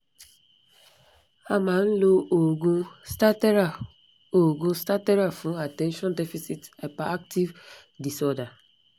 a ma n lo oogun stattera oogun stattera fun attension deficit hyperactive disorder